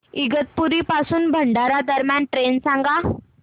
इगतपुरी पासून भंडारा दरम्यान ट्रेन सांगा